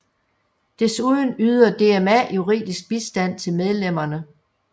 Desuden yder DMA juridisk bistand til medlemmerne